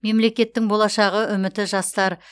мемлекеттің болашағы үміті жастар